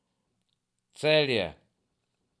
Celje.